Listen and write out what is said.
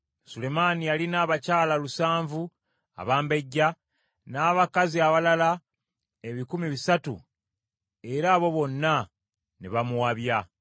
Sulemaani yalina abakyala lusanvu abambejja, n’abakazi abalala ebikumi bisatu, era abo bonna ne bamuwabya.